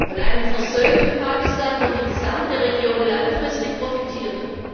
Von einem versöhnten Pakistan wird die gesamte Region langfristig profitieren.